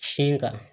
Sin kan